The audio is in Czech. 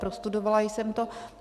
Prostudovala jsem to.